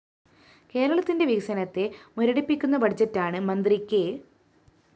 കേരളത്തിന്റെ വികസനത്തെ മുരടിപ്പിക്കുന്ന ബജറ്റാണ്‌ മന്ത്രി കെ